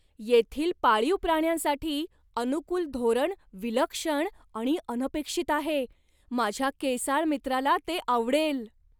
येथील पाळीव प्राण्यांसाठी अनुकूल धोरण विलक्षण आणि अनपेक्षित आहे माझ्या केसाळ मित्राला ते आवडेल!